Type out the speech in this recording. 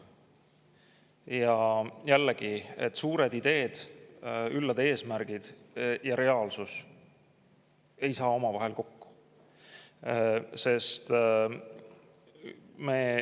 Ja jällegi, suured ideed ja üllad eesmärgid ning reaalsus ei saa omavahel kokku.